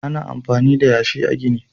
Ana amfani da yasi a gini.